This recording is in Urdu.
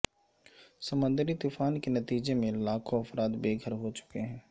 سمندری طوفان کے نتیجے میں لاکھوں افراد بےگھر ہو چکے ہیں